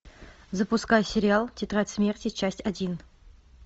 запускай сериал тетрадь смерти часть один